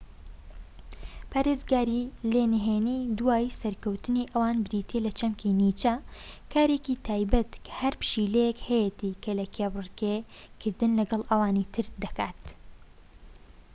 نهێنی دواوەی سەرکەوتنی ئەوان بریتیە لە چەمکی نیچە، کارێکی تایبەتە کە هەر پشیلەیەک هەیەتی کە لە کێبڕکێ کردن لەگەڵ ئەوانی تردا‎ پارێزگاری لێ دەکات